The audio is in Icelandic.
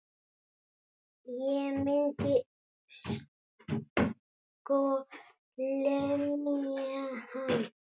Ég myndi sko lemja hann.